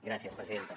gràcies presidenta